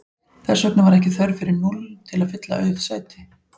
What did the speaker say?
Þess vegna var ekki þörf fyrir núll til að fylla auð sæti.